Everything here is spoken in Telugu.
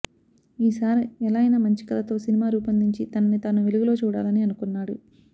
ఈసారి ఎలాగైనా మంచి కథతో సినిమా రూపొందించి తనని తానూ వెలుగులో చూడాలని అనుకున్నాడు